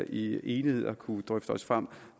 i enighed har kunnet drøfte os frem